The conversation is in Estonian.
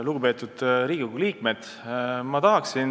Lugupeetud Riigikogu liikmed!